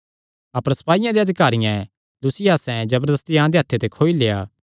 अपर सपाईयां दे अधिकारियैं लुसियासें जबरदस्ती अहां दे हत्थे ते खोई लेआ